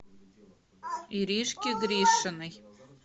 иришке гришиной